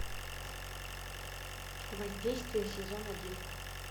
воздействие сезон один